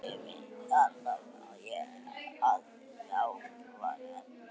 Ég vissi alltaf að laxinn var heilbrigður.